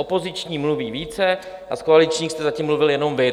Opoziční mluví více a z koaličních jste zatím mluvil jenom vy.